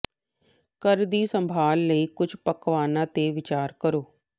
ਘਰ ਦੀ ਸੰਭਾਲ ਲਈ ਕੁੱਝ ਪਕਵਾਨਾਂ ਤੇ ਵਿਚਾਰ ਕਰੋ